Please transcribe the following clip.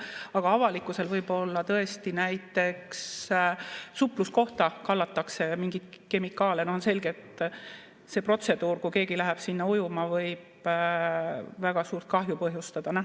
Aga avalikkuse võib olla tõesti näiteks supluskohta kallatakse mingeid kemikaale, see on selgelt see protseduur, mis, kui keegi läheb sinna ujuma, võib väga suurt kahju põhjustada.